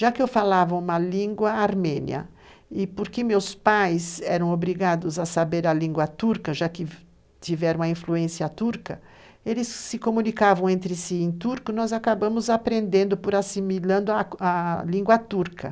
Já que eu falava uma língua armênia, e porque meus pais eram obrigados a saber a língua turca, já que tiveram a influência turca, eles se comunicavam entre si em turco, nós acabamos aprendendo por assimilando a língua turca.